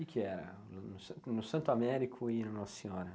Que que era no no San no Santo Américo e no Nossa Senhora?